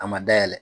A ma dayɛlɛ